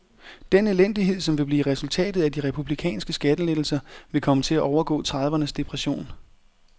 Den elendighed som vil blive resultatet af de republikanske skattelettelser vil komme til at overgå tredivernes depression.